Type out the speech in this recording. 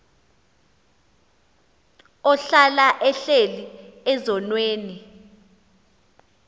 ohlala ehleli ezonweni